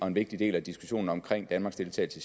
en vigtig del af diskussionen omkring danmarks deltagelse